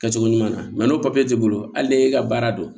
Kɛcogo ɲuman n'o papiye t'i bolo hali n'e ka baara don